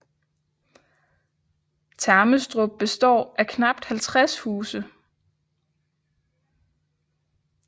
Termestrup består af knapt 50 huse